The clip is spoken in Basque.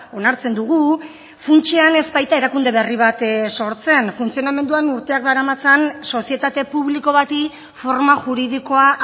onartzen dugu funtsean ez baita erakunde berri bat sortzen funtzionamenduan urteak daramatzan sozietate publiko bati forma juridikoa